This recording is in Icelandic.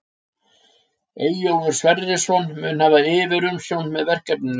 Eyjólfur Sverrisson mun hafa yfirumsjón með verkefninu.